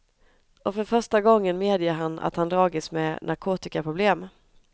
Och för första gången medger han att han dragits med narkotikaproblem.